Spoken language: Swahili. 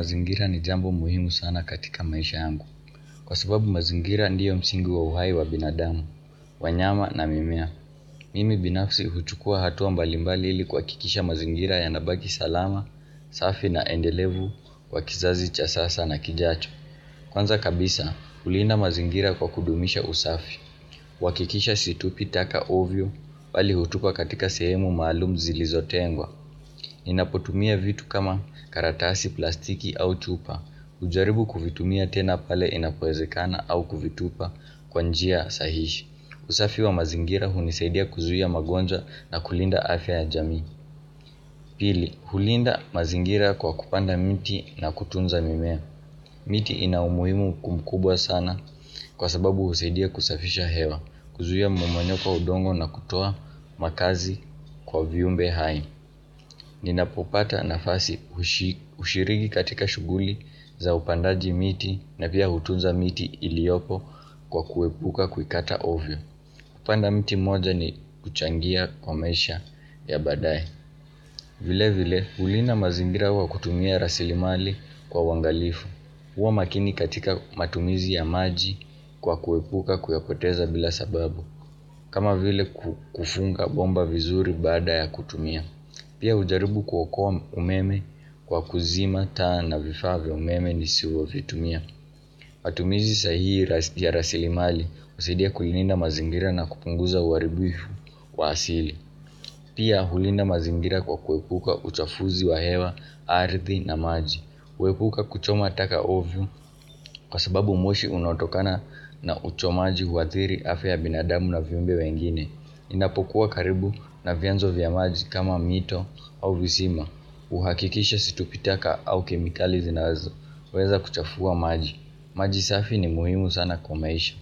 Mazingira ni jambo muhimu sana katika maisha yangu Kwa sababu mazingira ndiyo msingi wa uhai wa binadamu wanyama na mimea Mimi binafsi huchukua hatua mbalimbalili kwa ili kuhakikisha mazingira yanabaki salama safi na endelevu Kwa kizazi cha sasa na kijacho Kwanza kabisa, hulinda mazingira kwa kudumisha usafi uhakikisha situpi taka ovyo bali hutupa katika sehemu maluum zilizotengwa ninapotumia vitu kama karatasi plastiki au chupa hujaribu kuvitumia tena pale inapowezekana au kuvitupa kwa njia sahihi. Usafi wa mazingira hunisaidia kuzuia magonjwa na kulinda afya ya jamii Pili, hulinda mazingira kwa kupanda miti na kutunza mimea miti ina umuhimu mkubwa sana kwa sababu husaidia kusafisha hewa kuzuia mmomonyoko wa udongo na kutoa makazi kwa vyumbe hai Ninapopata nafasi ushiriki katika shuguli za upandaji miti na pia hutunza miti iliyopo kwa kuepuka kuikata ovyo kupanda mti mmoja ni kuchangia kwa maisha ya baadaye vile vile hulinda mazingira kwa kutumia rasilimali kwa uangalifu huwa makini katika matumizi ya maji kwa kuepuka kuyapoteza bila sababu kama vile kufunga bomba vizuri baada ya kutumia Pia hujaribu kuokoa umeme kwa kuzima taa na vifaa vya umeme nisivyovitumia matumizi sahihi ya rasilimali husaidia kulinda mazingira na kupunguza uharibifu wa asili Pia hulinda mazingira kwa kuepuka uchafuzi wa hewa arthi na maji Uepuka kuchoma taka ovyo kwa sababu moshi unaotokana na uchomaji huathiri afya ya binadamu na vimbe wengine inapokuwa karibu na vyanzo vya maji kama mito au visima uhakikisha situpi taka au kemikali zinazoweza kuchafua maji. Maji safi ni muhimu sana kwa maisha.